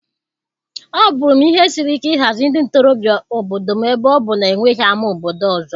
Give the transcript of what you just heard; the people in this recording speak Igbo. Ọ bụụrụ m ihe siri ike ịhazi ndị ntorobịa obodo m ebe ọ bụ na e nweghị ámá obodo ọzọ.